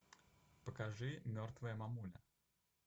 покажи мертвая мамуля